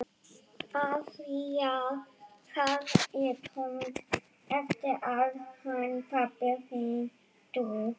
Afþvíað það er tóm eftir að hann pabbi þinn dó.